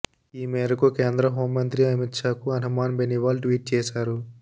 ఈ మేరకు కేంద్ర హోంమంత్రి అమిత్ షాకు హనుమాన్ బెనివాల్ ట్వీట్ చేశారు